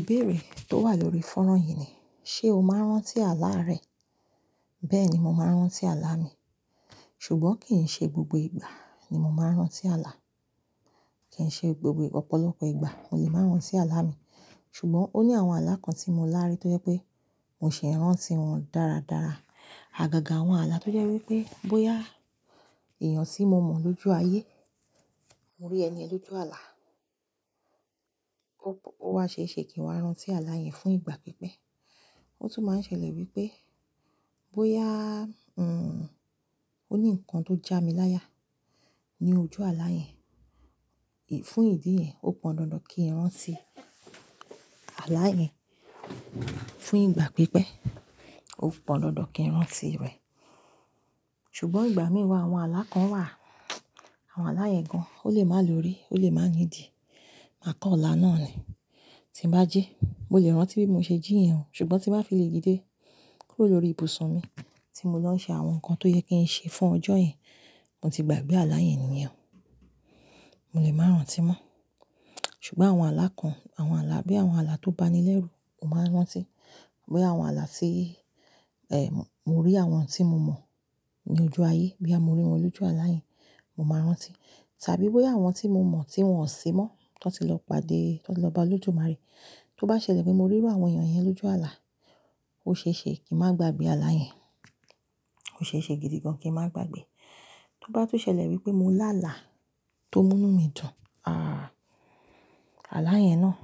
Ìbéèrè tó wà lórí fọ́nrán yìí ni, ṣe o máa ń rántí àlá rẹ? Bẹ́ẹ̀ni, mo máa ń rántí àlá mi. Ṣùgbọ́n kì í ṣe gbogbo ìgbà ni mo máa ń rántí àlá. Kì í ṣe gbogbo ọ̀pọ̀lọpọ̀ ìgbà mo lè máa ń rántí àlá mi. Ṣùgbọ́n ó ní àwọn àlá kan tí mo lári tó jẹ́ pé mo sì ń rántí wọn dára dára. Àgàgà àwọn àlá tó jẹ́ wípé bóyá èèyàn tí mo mọ̀ lójú ayé, mo rí ẹni ẹ lójú àlá, ó wa ṣeèṣe kì ń wá rántí àlá yẹn fún ìgbà pípẹ́. Ó tún máa ń ṣẹlẹ̀ wípé bóyá, hmm, ó ní ǹkan tó já mi láya ní ojú àlá yẹn, fún ìdí yẹn ó pọn dandan kí n rántí àlá yẹn. Fún ìgbà pípé ọ pọn dandan kí n rántí rẹ̀. Ṣùgbọ́n ìgbà mìi wa àwọn àlá kan wà, àwọn àlá ìyẹn gan-an, ó lè má lòrí, ó lè má ní di. Mà kán la náà ni. Tí n bá jí mo lè rántí bí mo ṣe jí iyèhun. Ṣùgbọ́n tí n bá fi lè dídé kúrò lórí ibùsùn mi tí mo lọ ń ṣe àwọn nǹkan tó yẹ kí n ṣe fún ọjọ́ yẹn, mo ti gbàgbé àlá yẹn nìyẹn. Mo lè máa rántí mọ́. Ṣùgbọ́n àwọn àlá kan, àwọn àlá bí àwọn àlá tó bá ni lẹ́rù, mo máa ń rántí. Bí àwọn àlá tí, eh, mo rí àwọn tí mo mọ̀ ní ojú ayé boya mo rí wọn lójú àlá yẹn, mo máa ń rántí. Tàbí bóyá àwọn tí mo mọ̀ tí wọ́n ò sí mọ́, tí wọ́n ti lọ pade, tí wọ́n ti lọ bá Olódùmarè. Tó bá ṣẹlẹ̀ pé mo rírụ àwọn èèyàn yẹn lójú àlá, ó ṣe é ṣe kí n má gbagbe àlá yẹn. Ó ṣe é ṣe gidi gan-an kí n má gbagbe. Tó bá tún ṣẹlẹ̀ wípé mo lá àlá tó múnú mi dùn, ah, àlá yẹn náà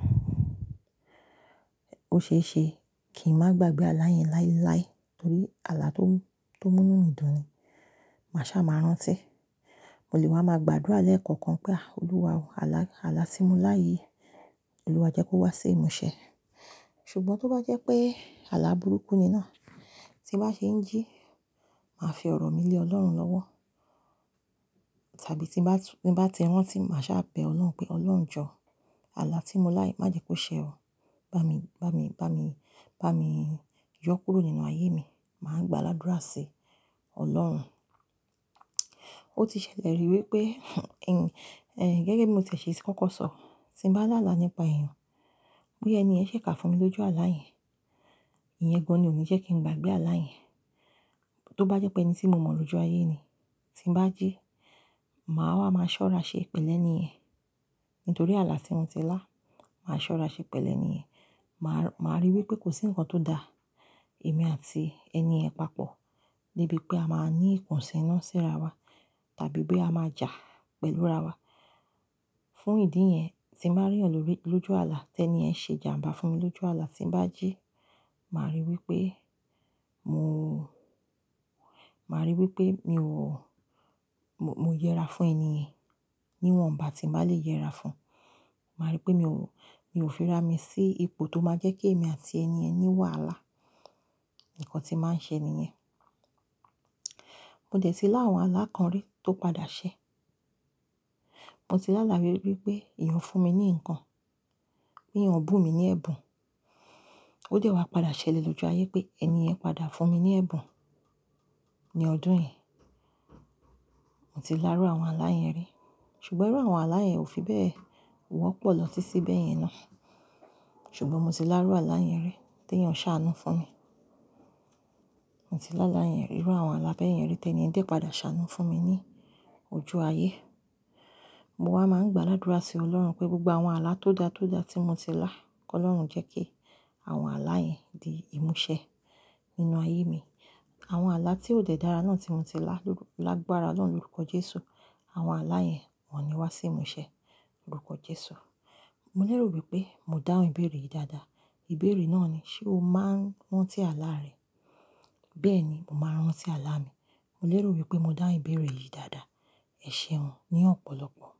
ó ṣe é ṣe kí n má gbagbe àlá yẹn láíláí torí àlá tó, tó múnú mi dùn ni. Mà sá máa ń rántí. Mo lè má máa gbàdúrà lẹ́ẹ̀kọ̀kan pé à, Olúwa, àlá, àlá tí mo lá yìí, Olúwa jẹ́ kó wá sí ìmúṣẹ. Ṣùgbọ́n tó bá jẹ́ pé àlá burúkú ni náà tí n bá ṣe ń jí, màá fi ọ̀rọ̀ mi lé Ọlọ́run lọ́wọ́. Tàbí tí n bá tu-- tí n bá ti rántí mà sá bẹ Ọlọ́run pé, "Ọlọ́run jọ, àlá tí mo lá yìí má jẹ́ kó ṣe ọ. Bá mi, bá mi, bá mi, bá mi yọ kúrò nínú ayé mi." Màá gbá ládúrà sí Ọlọ́run. Ó ti ṣẹlẹ̀ rí wípé, gege bí mo ti è ṣe kọ́kọ́ sọ, tí n bá làlá nípa èèyàn, bí ẹni yẹn ṣẹ̀ ká fún mi lójú àlá yẹn, ìyẹn gan-an ni ò ní jẹ́ kí n gbagbe àlá yẹn. Tó bá jẹ́ pé ẹni tí mo mọ̀ lójú ayé ni, tí n bá jí, màá wá máa ṣọ́ra ṣe pẹ̀lẹ́niyen. Nítorí àlá tí mo ti lá, màá ṣọ́ra ṣe pẹ̀ lẹ́ niyen. Màá, màá rí wípé kò sí ǹkan tó da èmi àti ẹniyen papọ̀ níbi pé a máa ní ìkùnsíná sí ara wa tàbí pé a máa jà pẹ̀lú ara wa. Fún ìdí yẹn tí n bá re yan lórí-- lójú àlá, tẹni yẹn ṣe jàǹbá fún mi lójú àlá, tí n bá jí, màá rí wípé mò, màá rí wípé mi ò, mo yẹra fún ẹni ẹ̀ níwọ̀nba tí n bá lè yẹra fún. Màá rí wípé mi ò, mi ò fira mi sí ipò tó máa jẹ́ kí èmi àti ẹniyẹn ní wàhálà. Ìkan tí màá ṣẹ ni yẹn. Mo dẹ̀ tí lá àwọn àlá kan rí tó padà ṣẹ. Mo ti lá lála rí wípé èèyàn fún mi ní ǹkan, pé wọn bù mi ní ẹ̀bùn. Ó dẹ̀ wá padà ṣẹlẹ̀ lójú ayé pé ẹni ẹ padà fún mi ní ẹ̀bùn ní ọdún yìí. Mo ti lá rú àwọn àlá yẹn rí. Ṣùgbọ́n irú àwọn àlá yẹn ò fi bẹ́ẹ̀ wọ́pọ̀ lọ títí bẹ́ẹ̀ yẹn ná. Ṣùgbọ́n mo ti lá rú àlá yẹn rí t'ẹeyan ṣàánú fún mi. Mo ti lá lála yẹn rí, irú àwọn àlá bẹ́ẹ̀ yẹn rí t'eẹniyẹn dé padà ṣe àánú fún mi ní ojú ayé. Mo wá máa ń gbáa ládúrà sí Ọlọ́run pé gbogbo àwọn àlá tó da tó da tí mo ti lá, k'Ọlọ́run jẹ́ kí àwọn àlá yẹn di ìmúṣẹ nínú ayé mi. Àwọn àlá tí ò dẹ́ dára náà tí mo ti lá ló-- lágbára lọ̀run lọ́rúkọ Jésù. Àwọn àlá yẹn wọ́n ní wá sí ìmúṣẹ lọ́rúkọ Jésù. Mo lérò wípé mo dáhùn ìbéèrè yìí dáadáa. Ìbéèrè náà ni, ṣe o máa ń rántí àlá rẹ? Bẹ́ẹ̀ni, mo máa ń rántí àlá mi. Mo lérò wípé mo dáhùn ìbéèrè yìí dáadáa. Ẹ̀ṣẹ̀un ní ọ̀pọ̀lọpọ̀.